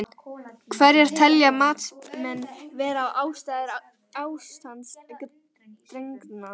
Hverjar telja matsmenn vera ástæður ástands drenlagnanna?